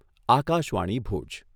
Akashvani Bhuj